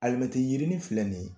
Alimɛti yirini filɛ nin